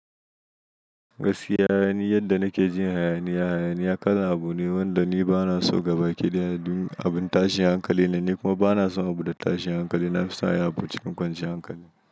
Gaskiya, ni yadda nake jin hayaniya. Hayaniya ƙarin abu ne wanda ni ba na so gabaki ɗaya. Dun abin tashin hankali ne, ni kuma ba na son abuda tashin hankali. Na fi son ayi abu cikin kwanciyar hankali.